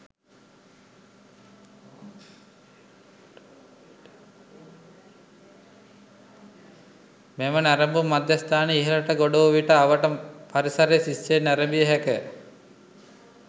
මෙම නැරඹුම් මධ්‍යස්ථානයේ ඉහළට ගොඩ වූ විට අවට පරිසරය සිත් සේ නැරඹිය හැක.